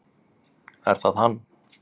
Er það hann?